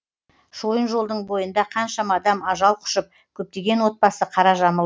шойын жолдың бойында қаншама адам ажал құшып көптеген отбасы қара жамылды